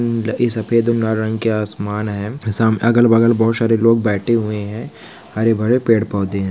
यह सफेद और नारंग के आसमान है सामने अगर बगल बहुत सारे लोग बैठे हुए हैं हरे भरे पेड़ पौधे हैं।